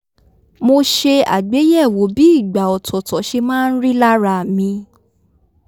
mo ṣe àgbéyẹ̀wò bí ìgbà ọ̀tọ̀ọ̀tọ̀ se máa ń rí lára mi í